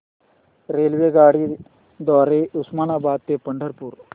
रेल्वेगाड्यां द्वारे उस्मानाबाद ते पंढरपूर